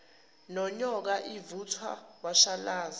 nonyoka ivuthwa washalaza